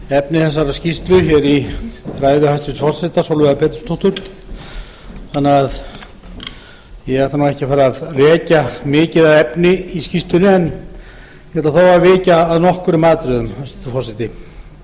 efni þessarar skýrslu hér í ræðu hæstvirts forseta sólveigar pétursdóttur þannig að ég ætla ekki að fara að rekja mikið af efni í skýrslunni en ég ætla þó að víkja að nokkrum atriðum hæstvirtur forseti